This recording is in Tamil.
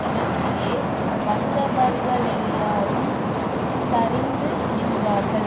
இடத்திலே வந்தவர்களெல்லாரும் தரித்து நின்றார்கள்